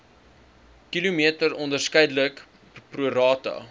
km onderskeidelik prorata